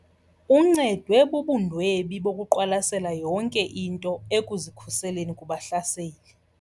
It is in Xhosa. Uncedwe bubundwebi bokuqwalasela yonke into ekuzikhuseleni kubahlaseli.